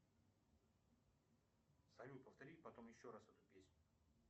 салют повтори потом еще раз эту песню